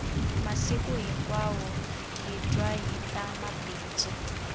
masiku hinkwawo hi twa hita mabindzu